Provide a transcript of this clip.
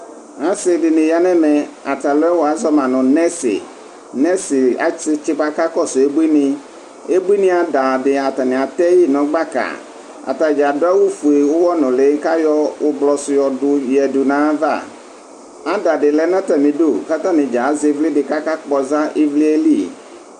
asi di ni ya n'ɛmɛ ata alòɛ wa zɔ ma no nɛsi nɛsi asi tsi boa k'akɔsu abuini abuini ada di atani atɛ yi no gbaka atadza adu awu fue uwɔ nuli k'ayɔ ublɔ su yɔ du ya du n'ayi ava ada di lɛ n'atami du k'atani dza azɛ ivli di k'aka kpɔza ivli yɛ li.